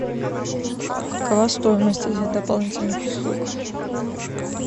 какова стоимость этих дополнительных услуг